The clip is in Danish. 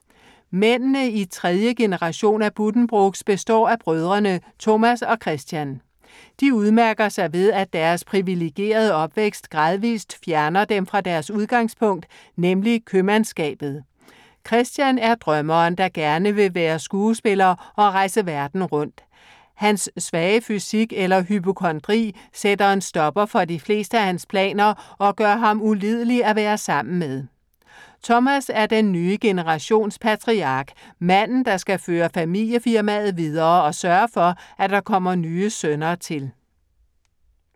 Mændene i tredje generation Buddenbrook består af brødrene Thomas og Christian. De udmærker sig ved, at deres privilegerede opvækst gradvist fjerner dem fra deres udgangspunkt, nemlig købmandsskabet. Christian er drømmeren, der gerne vil være skuespiller og rejse verden rundt. Han svage fysik eller hypokondri sætter en stopper for de fleste af hans planer og gør ham ulidelig at være sammen med. Thomas er den nye generations patriark, manden, der skal føre familiefirmaet videre og sørge for, at der kommer nye sønner til.